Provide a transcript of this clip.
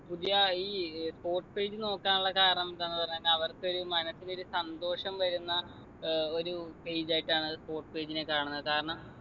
പുതിയ ഈ sports page നോക്കാനുള്ള കാരണമെന്താന്ന് പറഞ്ഞാൽ അവർക്കൊര് മനസ്സിന് ഒരു സന്തോഷം വരുന്ന ഏർ ഒരു page ആയിട്ടാണ് അത് sports page നെ കാണുന്നെ കാരണം